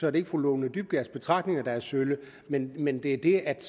er det ikke fru lone dybkjærs betragtninger der er sølle men men det det at